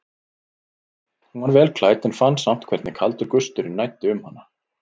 Hún var vel klædd en fann samt hvernig kaldur gusturinn næddi um hana.